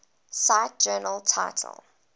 cite journal title